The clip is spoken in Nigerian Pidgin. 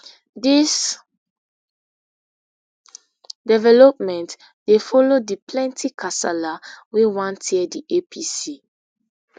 dis development dey follow di plenty kasala wey wan tear di apc